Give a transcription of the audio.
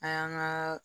An y'an ka